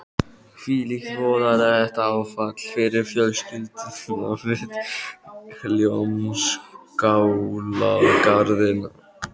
Hvílíkt voðalegt áfall fyrir fjölskylduna við Hljómskálagarðinn.